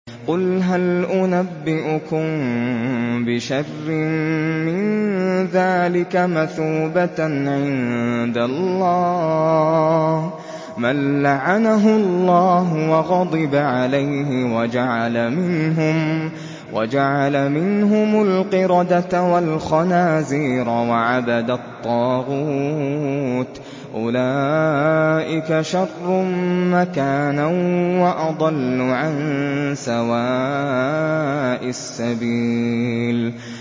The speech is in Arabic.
قُلْ هَلْ أُنَبِّئُكُم بِشَرٍّ مِّن ذَٰلِكَ مَثُوبَةً عِندَ اللَّهِ ۚ مَن لَّعَنَهُ اللَّهُ وَغَضِبَ عَلَيْهِ وَجَعَلَ مِنْهُمُ الْقِرَدَةَ وَالْخَنَازِيرَ وَعَبَدَ الطَّاغُوتَ ۚ أُولَٰئِكَ شَرٌّ مَّكَانًا وَأَضَلُّ عَن سَوَاءِ السَّبِيلِ